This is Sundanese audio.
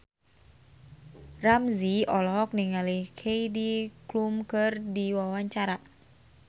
Ramzy olohok ningali Heidi Klum keur diwawancara